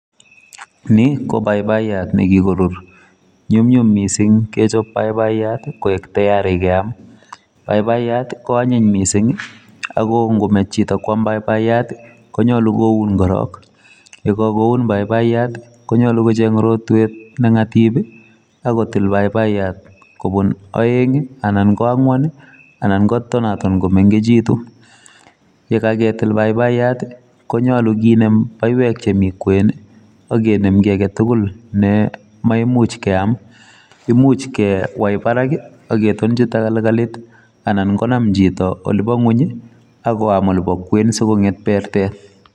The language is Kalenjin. Ni ko paipaiyat ne kikorur. Nyum nyum missing kechop paipaiyat koek tiari keam. Paipayat, ko anyiny missing ago ngomech chito kwam paipayat, konyolu koun korok. Yekakuon paipaiyat, konyolu kocheng' rotwet ne ng'atip, akotil paipayat kobun aeng' anan ko ang'wan anan kotonaton komengechitu. Yekaketil paipayat, konyolu kinem baiwek che mi kwen, akenem ki age tugul , ne maimuch keam. Imuch kewai barak, aketonchi tagalgalit, anan konam chito ole bo ng'uny, akoam olebo kwen asikong'et bertet.